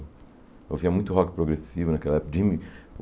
Eu ouvia muito rock progressivo naquela época. Jimmy